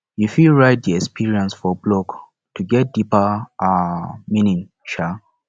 you fit write di experience for blog to get deeper um meaning um